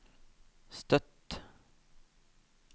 Støtt